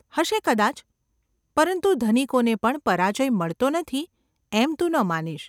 ‘હશે, કદાચ. પરંતુ ધનિકોને પણ પરાજય મળતો નથી એમ તું ન માનીશ.